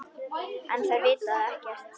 En þær vita ekkert.